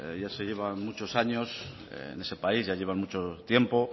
ya llevan muchos años en ese país ya llevan mucho tiempo